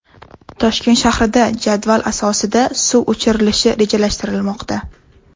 Toshkent shahrida jadval asosida suv o‘chirilishi rejalashtirilmoqda.